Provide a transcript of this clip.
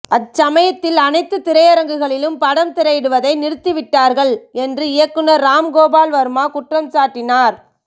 அச்சமயத்தில் அனைத்து திரையரங்குகளிலும் படம் திரையிடுவதை நிறுத்தி விட்டார்கள் என்று இயக்குநர் ராம் கோபால் வர்மா குற்றம்சாட்டினார்